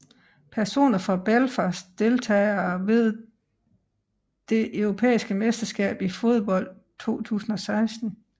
Personer fra Belfast Deltagere ved det europæiske mesterskab i fodbold 2016